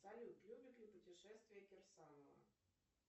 салют любит ли путешествия кирсанова